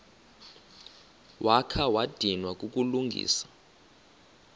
wakha wadinwa kukulungisa